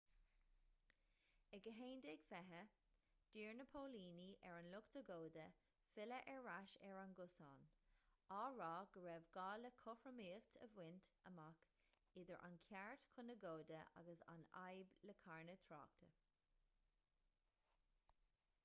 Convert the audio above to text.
ag 11:20 d'iarr na póilíní ar an lucht agóide filleadh ar ais ar an gcosán á rá go raibh gá le cothromaíocht a bhaint amach idir an ceart chun agóide agus an fhadhb le carnadh tráchta